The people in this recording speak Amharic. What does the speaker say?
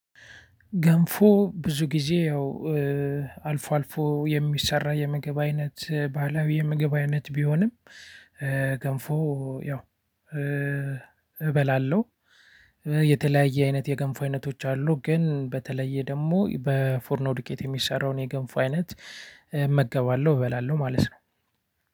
ገንፎ ብዙ ጊዜ ያው አልፎ አልፎ የሚሰራ የምግብ አይነት ባህላዊ የምግብ አይነት ቢሆንም። ገንፎ ያው እበላለሁ። የተለያየ አይነት የገንፎ አይነቶች አሉ። ግን በተለየ ደግሞ በፎርኖ ዱቄት የሚሰራውን የገንፎ አይነት እመገባለሁ እበላለሁ ማለት ነው።